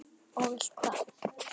Og vilt hvað?